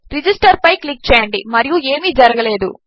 register పైక్లిక్చేయండిమరియుఏమీజరగలేదు